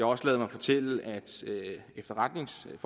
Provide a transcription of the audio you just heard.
også ladet mig fortælle at efterretningsfolk